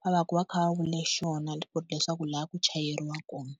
va va ka va kha va vule xona leswaku laha ku chayeriwa kona.